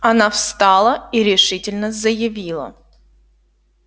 она встала и решительно заявила